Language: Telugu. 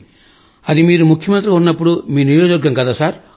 అది మీరు ముఖ్యమంత్రిగా ఉన్నప్పుడు మీ నియోజకవర్గం కదా